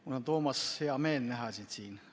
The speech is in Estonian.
Mul on, Toomas, hea meel näha sind siin.